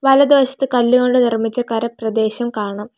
വലത് വശത്ത് കല്ല് കൊണ്ട് നിർമിച്ച കര പ്രദേശം കാണാം.